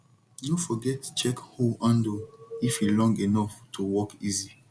no forget check hoe handle if e long enough to work easy